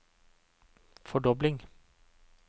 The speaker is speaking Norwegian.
fordobling